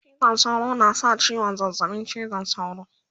cizon sauro na sa ciwon zazzaɓin cizon sauro